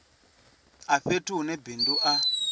a fhethu hune bindu a